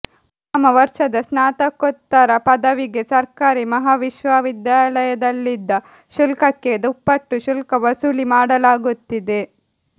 ಪ್ರಥಮ ವರ್ಷದ ಸ್ನಾತಕೋತ್ತರ ಪದವಿಗೆ ಸರ್ಕಾರಿ ಮಹಾವಿದ್ಯಾಲಯದಲ್ಲಿದ್ದ ಶುಲ್ಕಕ್ಕೆ ದುಪ್ಪಟ್ಟು ಶುಲ್ಕ ವಸೂಲಿ ಮಾಡಲಾಗುತ್ತಿದೆ